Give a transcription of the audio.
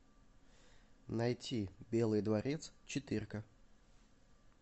найти белый дворец четырка